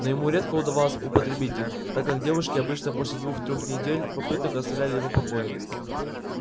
но ему редко удавалось употребить их так как девушки обычно после двух-трех попыток оставляли его в покое